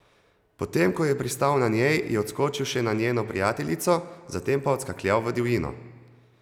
Potem ko je pristal na njej, je odskočil še na njeno prijateljico, zatem pa odskakljal v divjino.